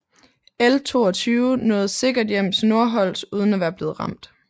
L 22 nåede sikkert hjem til Nordholz uden at være blevet ramt